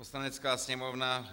Poslanecká sněmovna